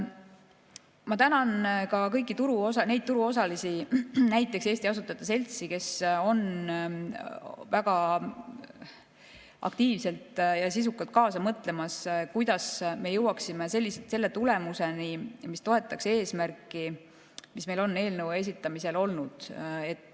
Ma tänan ka kõiki neid turuosalisi, näiteks Eesti Asutajate Seltsi, kes on väga aktiivselt ja sisukalt kaasa mõtlemas, kuidas me jõuaksime selle tulemuseni, mis toetaks eesmärki, mis meil on eelnõu esitamisel olnud.